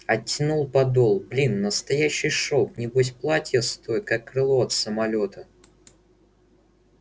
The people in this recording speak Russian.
оттянул подол блин настоящий шёлк небось платье стоит как крыло от самолёта